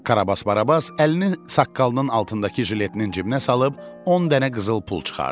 Karabas Barabas əlini saqqalının altındakı jiletinin cibinə salıb on dənə qızıl pul çıxartdı.